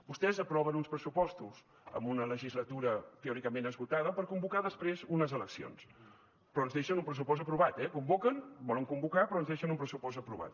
vostès aproven uns pressupostos en una legislatura teòricament esgotada per convocar després unes eleccions però ens deixen un pressupost aprovat eh convoquen volen convocar però ens deixen un pressupost aprovat